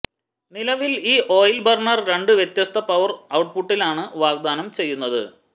നിലവിൽ ഈ oil burner രണ്ട് വ്യത്യസ്ത പവർ ഔട്ട്പുട്ടിലാണ് വാഗ്ദാനം ചെയ്യുന്നത്